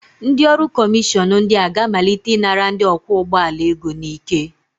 Ndị ọrụ kọmishọn ndị a ga-amalite ịnara ndị ọkwọ ụgbọala ego n'ike